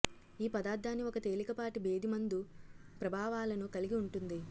ఈ పదార్ధాన్ని ఒక తేలికపాటి భేదిమందు ప్రభావాలను కలిగి ఉంటుంది